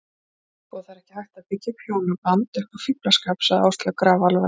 Sko, það er ekki hægt að byggja hjónaband upp á fíflaskap, sagði Áslaug grafalvarleg.